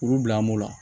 Kuru bila an b'o la